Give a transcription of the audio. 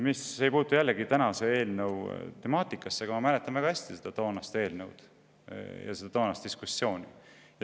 See ei puutu küll tänase eelnõu temaatikasse, aga ma mäletan väga hästi toonast eelnõu ja toonast diskussiooni.